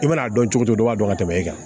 I mana a dɔn cogo di dɔ b'a dɔn ka tɛmɛ e kan